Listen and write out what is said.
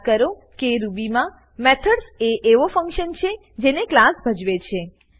યાદ કરો કે રૂબી માં મેથડ્સ એ એવા ફંક્શનો છે જેને ક્લાસ ભજવે છે